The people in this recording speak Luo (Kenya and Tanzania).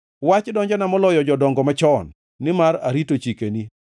Wach donjona moloyo jodongo machon nimar arito chikeni.